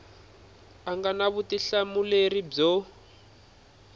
a nga na vutihlamuleri byo